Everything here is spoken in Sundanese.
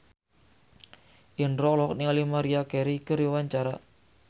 Indro olohok ningali Maria Carey keur diwawancara